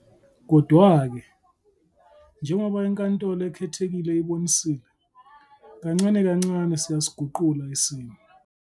Kodwa-ke, njengoba iNkantolo Ekhethekile ibonisile, kancane kancane siyasiguqula isimo.